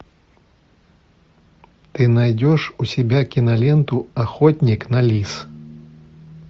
ты найдешь у себя киноленту охотник на лис